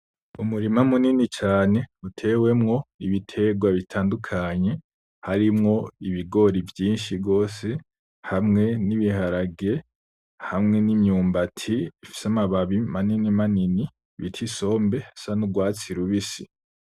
Umurima munini cane utewemwo ibiterwa bitandukanye harimwo Ibigori vyinshi gose hamwe n'ibiharage ,hamwe n'imyumbati ifise amababi maninimanini bita isombe zisa n'urwatsi rubisi.